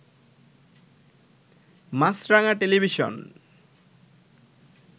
Maasranga television